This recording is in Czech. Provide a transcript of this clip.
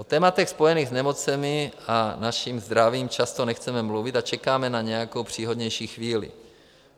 O tématech spojených s nemocemi a naším zdravím často nechceme mluvit a čekáme na nějakou příhodnější chvíli.